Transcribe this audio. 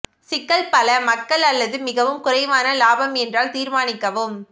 சிக்கல் பல மக்கள் அல்லது மிகவும் குறைவான லாபம் என்றால் தீர்மானிக்கவும்